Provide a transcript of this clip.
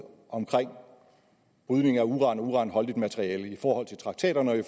om udvinding af uran og uranholdigt materiale i forhold til traktaterne og i